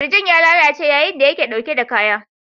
Kirjin ya lalace yayin da yake dauke da kaya.